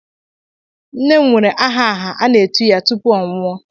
Nne m nwere aha aha a na-etu ya tupu ọ nwụọ.